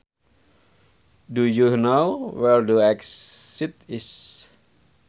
Do you know where the exit is